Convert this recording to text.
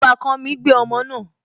Ọbàkan mi gbé ọmọ náà